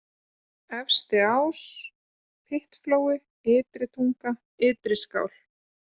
Efstiás, Pyttflói, Ytri-Tunga, Ytri-Skál